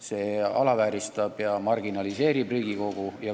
See alavääristab ja marginaliseerib Riigikogu.